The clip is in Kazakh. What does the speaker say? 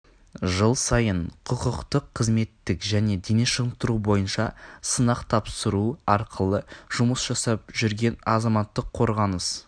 жыл сайын құқықтық қызметтік және дене шынықтыру бойынша сынақ тапсыру арқылы жұмыс жасап жүрген азаматтық қорғаныс